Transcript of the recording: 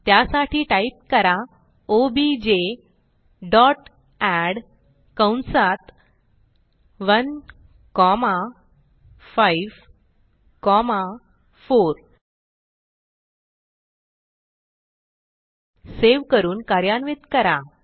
त्यासाठी टाईप करा OBJ dot ed कंसात1 कॉमा 5 कॉमा 4 सेव्ह करून कार्यान्वित करा